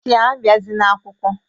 si abiazina akwukwọ